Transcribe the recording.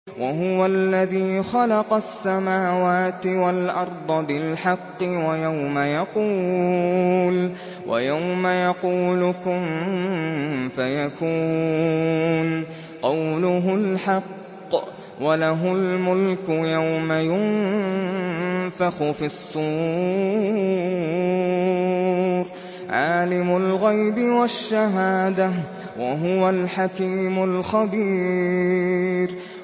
وَهُوَ الَّذِي خَلَقَ السَّمَاوَاتِ وَالْأَرْضَ بِالْحَقِّ ۖ وَيَوْمَ يَقُولُ كُن فَيَكُونُ ۚ قَوْلُهُ الْحَقُّ ۚ وَلَهُ الْمُلْكُ يَوْمَ يُنفَخُ فِي الصُّورِ ۚ عَالِمُ الْغَيْبِ وَالشَّهَادَةِ ۚ وَهُوَ الْحَكِيمُ الْخَبِيرُ